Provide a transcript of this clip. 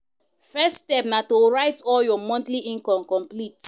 First step na to write all your monthly income complete